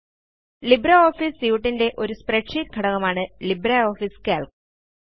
LibreOffice suite ൻറെ ഒരു spreadsheet ഘടകമാണ് ലിബ്രിയോഫീസ് കാൽക്ക്